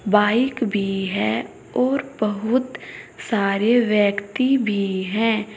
Bike भी है और बहुत सारे व्यक्ति भी है।